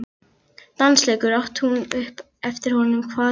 Dansleikur? át hún upp eftir honum, hvað er nú það?